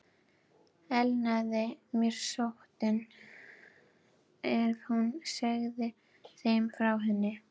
Elnaði mér sóttin, ef hún segði þeim frá henni?